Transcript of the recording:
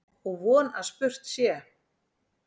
Og von að spurt sé.